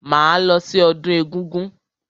Máa lọ sí ọdún egúngún.